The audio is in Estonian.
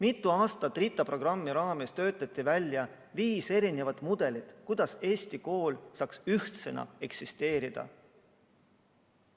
RITA programmi raames töötati välja viis eri mudelit, kuidas Eesti kool saaks ühtsena eksisteerida.